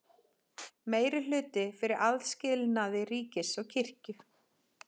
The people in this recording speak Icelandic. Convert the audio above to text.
Meirihluti fyrir aðskilnaði ríkis og kirkju